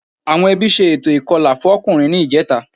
Àwọn ẹbí ṣe ètò ìkọlà fọ́kùnrin ní ìjẹta